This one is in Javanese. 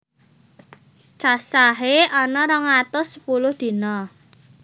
Cacahé ana rong atus sepuluh dina